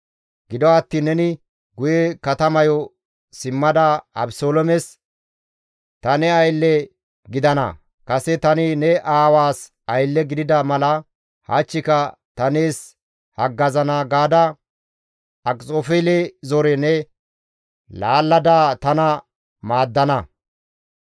gido attiin neni guye katamayo simmada Abeseloomes, ‹Ta ne aylle gidana; kase tani ne aawaas aylle gidida mala hachchika ta nees haggazana› gaada Akxofeele zore ne laallada tana maaddana.